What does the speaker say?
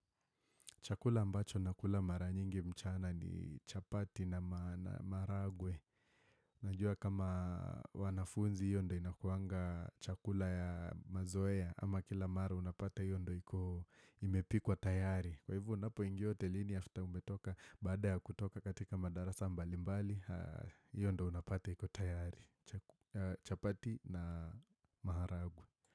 Chakula ambacho nakula mara nyingi mchana ni chapati na marahagwe. Najua kama wanafunzi hiyo ndo inakuanga chakula ya mazoea ama kila mara unapata hiyo ndo imepikwa tayari. Kwa hivyo unapoingia hotelini after umetoka baada ya kutoka katika madarasa mbali mbali hiyo ndo unapata hiko tayari. Chapati na marahagwe.